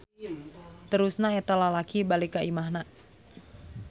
Terusna eta lalaki balik ka imahna.